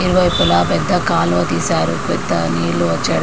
ఇరువైపులా పెద్ద కాలువ తీశారు పెద్ద నీళ్లు వచ్చే--